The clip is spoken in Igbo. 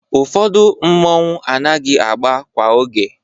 Ụfọdụ mmọnwụ anaghị agba kwa oge.